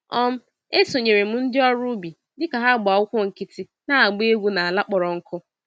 um Esonyere m ndị ọrụ ubi dịka ha gbá ụkwụ nkịtị na-agba egwu n'ala kpọrọ nkụ.